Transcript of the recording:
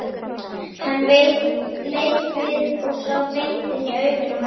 Hann leit við og sá beint inn í augun á Halla.